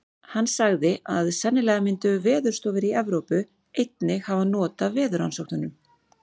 Hann sagði, að sennilega myndu veðurstofur í Evrópu. einnig hafa not af veðurrannsóknunum.